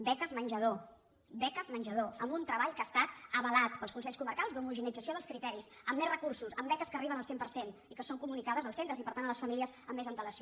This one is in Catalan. beques menjador beques menjador amb un treball que ha estat avalat pels consells comarcals d’homogeneïtzació dels criteris amb més recursos amb beques que arriben al cent per cent i que són co·municades als centres i per tant a les famílies amb més antelació